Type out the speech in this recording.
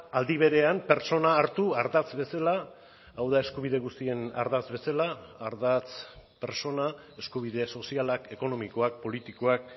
aldi berean pertsona hartu ardatz bezala hau da eskubide guztien ardatz bezala ardatz pertsona eskubide sozialak ekonomikoak politikoak